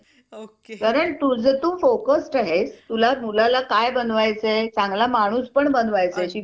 Hello Bhagyashree! हा.